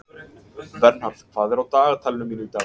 Vernharð, hvað er á dagatalinu mínu í dag?